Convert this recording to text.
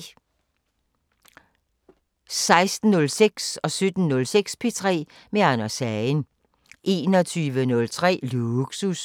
16:06: P3 med Anders Hagen 17:06: P3 med Anders Hagen 21:03: Lågsus